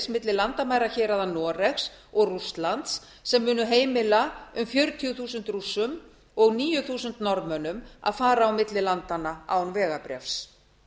milli landamærahéraða noregs og rússlands sem munu heimila um fjörutíu þúsund rússum og níu þúsund norðmönnum að fara á milli landanna án vegabréfs